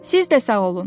Siz də sağ olun.